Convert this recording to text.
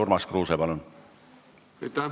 Urmas Kruuse, palun!